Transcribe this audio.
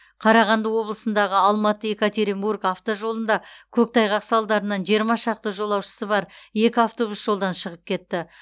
қарағанды облысындағы алматы екатеринбург автожолында көктайғақ салдарынан жиырма шақты жолаушысы бар екі автобус жолдан шығып кетті